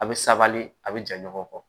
A bɛ sabali a bɛ ja ɲɔgɔn kɔ